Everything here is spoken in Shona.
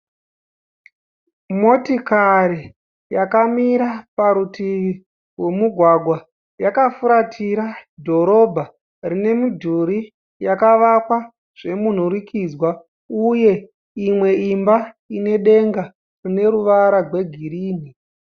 Motikari yakamira parutivi rwomugwagwa yakafuratira dhorobha rine midhuri yakavakwa zvemunhurikidzwa uye imwe imba ine denga rine ruvara rwegirini.